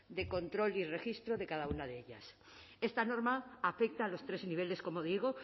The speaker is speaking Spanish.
de control y registro de cada una de ellas esta norma afecta a los tres niveles como digo